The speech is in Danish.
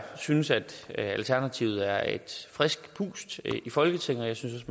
synes at alternativet er et frisk pust i folketinget og jeg synes